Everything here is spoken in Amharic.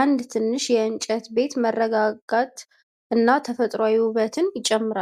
አንድ ትንሽ የእንጨት ቤት መረጋጋትና ተፈጥሮአዊ ውበትን ይጨምራል።